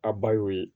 A ba y'o ye